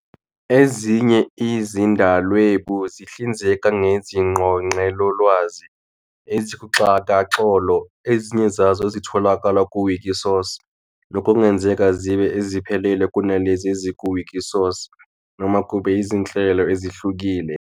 Ezinye izizindalwebu zihlinzeka ngezingqoqelolwazi ezikuxhakaxholo, ezinye zazo ezitholakala ku-Wikisource, nokuNgenzeka zibe eziphele kunalezi eziku-Wikisource, noma kube izinhlelo ezihlukile.